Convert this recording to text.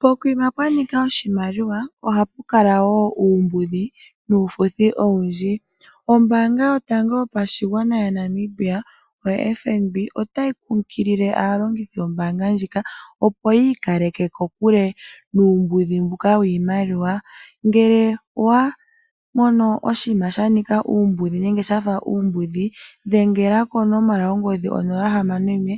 Kokuma kwanika oshimaliwa ohaku kala wo uumbudhi nufuthi owundji. Ombanga yotango yopashigwana yaNamibia oFNB otayi kunkililo aalongithi yombanga ndjika opo yi ikaleke kokule nuumbudhi mbuka wiimaliwa. Ngele owa mono oshinima sha nika uumbudhi nenge shafa uumbudhi dhengela konomola yongodhi, onomola hamano noyimwe